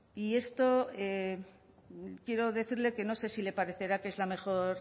y esto quiero decirle que no sé si le parecerá que es la mejor